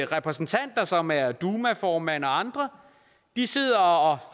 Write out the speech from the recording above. repræsentanter som er dumaformanden og andre sidder og